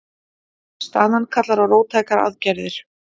Staðan kallar á róttækar aðgerðir